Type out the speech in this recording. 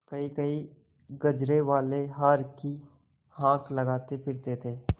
कहींकहीं गजरेवाले हार की हाँक लगाते फिरते थे